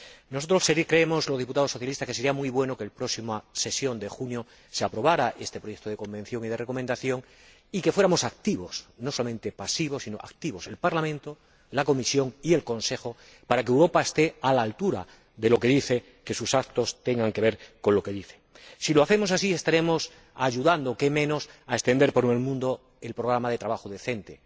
Los diputados socialistas creemos que sería muy bueno que en la próxima sesión de junio se aprobara este proyecto de convenio y de recomendación, y que fuéramos activos no solamente pasivos, sino activos el Parlamento, la Comisión y el Consejo para que Europa esté a la altura de lo que dice, para que sus actos tengan que ver con lo que dice. Si lo hacemos así estaremos ayudando qué menos a extender por el mundo el Programa de Trabajo Decente.